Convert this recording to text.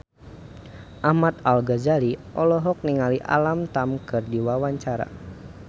Ahmad Al-Ghazali olohok ningali Alam Tam keur diwawancara